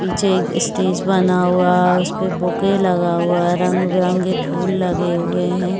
पीछे एक स्टेज बना हुआ उसपे बूके लगा हुआ है रंग-बिरंगे फूल लगे हुए है।